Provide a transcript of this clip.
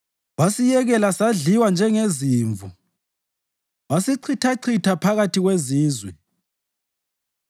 Wasiyekela sadliwa njengezimvu wasichithachitha phakathi kwezizwe.